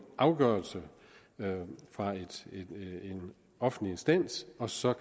afgørelse fra en offentlig instans og så